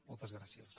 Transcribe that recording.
moltes gràcies